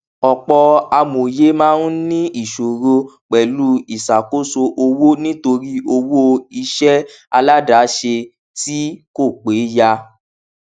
ọpọ amòye máa ń ní ìṣòro pẹlú ìsàkóso owó nítorí owó iṣẹ aládàsẹ tí kò péyà